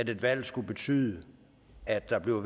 et valg skulle betyde at der blev